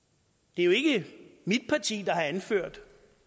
det er jo ikke mit parti der har indført